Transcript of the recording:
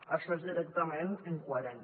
això és directament incoherent